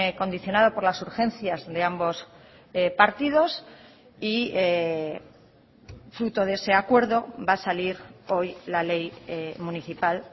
condicionado por las urgencias de ambos partidos y fruto de ese acuerdo va a salir hoy la ley municipal